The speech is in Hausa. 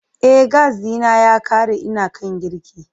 E, gas ɗina ya ƙare ina kan girki.